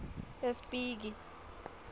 espiki